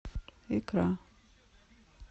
икра